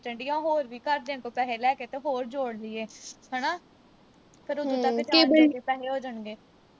ਹੋਰ ਵੀ ਘਰਦਿਆਂ ਤੋਂ ਪੈਸੇ ਲੈ ਕੇ ਹੋਰ ਜੋੜ ਲੀਏ। ਹਨਾ? ਫੇਰ ਉਥੋਂ ਤੱਕ ਜਾਣ ਜੋਗੇ ਪੈਸੇ ਹੋ ਜਾਣਗੇ।